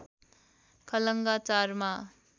Khalanga ४मा